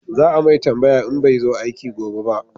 Za a mai tambaya in bai zo aiki gobe ba